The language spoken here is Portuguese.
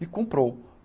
E comprou.